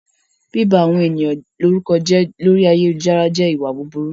Bíba àwọn ènìyàn lórúkọ jẹ́ lórí ayélujára jẹ́ ìwà búburú